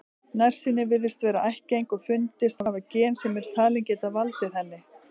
Nærsýni virðist vera ættgeng og fundist hafa gen sem eru talin geta valdið henni.